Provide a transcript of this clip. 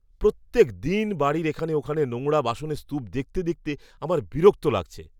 প্রত্যেক দিন বাড়ির এখানে ওখানে নোংরা বাসনের স্তূপ দেখতে দেখতে আমার বিরক্ত লাগছে।